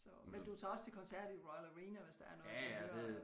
Så men du tager også til koncert i Royal Arena hvis der er noget du vil høre